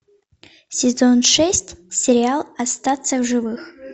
сезон шесть сериал остаться в живых